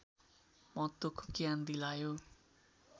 महत्त्वको ज्ञान दिलायो